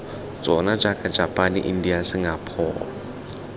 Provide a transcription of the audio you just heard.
tsona jaaka japane india singapore